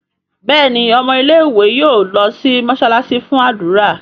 Béèni ọmọ ilé ìwé yóò ló sì mosalasi fún ádùrá.